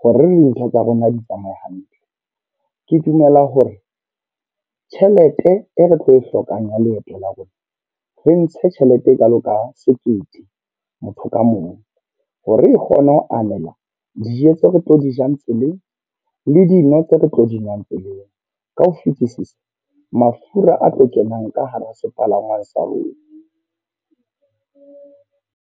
hore dintho tsa rona di tsamaya hantle. Ke dumela hore tjhelete e re tlo e hlokang ya leeto la rona. Re ntshe tjhelete e kalo ka sekete motho ka mong. Hore e kgone ho anela dijo tse re tlo di jang tseleng le dino tse re tlo dinwang tseleng. Ka ho fetisisa mafura a tlo kenang ka hara sepalangwang sa rona.